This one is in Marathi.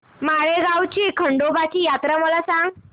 माळेगाव ची खंडोबाची यात्रा मला सांग